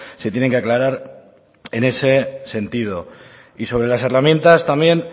se tienen que aclarar en ese sentido y sobre las herramientas también